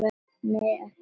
Nei, ekki þannig.